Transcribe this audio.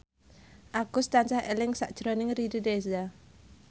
Agus tansah eling sakjroning Riri Reza